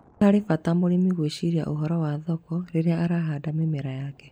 Nĩ harĩ bata mũrĩmi gwĩciria uhoro wa thoko rĩrĩa arahanda mĩmera yake.